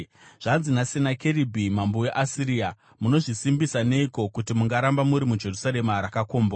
“Zvanzi naSenakeribhi mambo weAsiria: Munozvisimbisa neiko, kuti mungaramba muri muJerusarema rakakombwa?